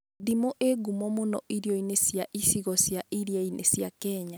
Ndimũ ĩ ngumo mũno irio-inĩ cia icigo cia iria-inĩ cia Kenya